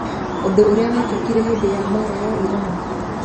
Ũndũ ũrĩa wekĩkire hĩndĩ ya mbaara ya Iran?